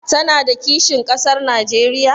Tana da kishin ƙasar Najeriya?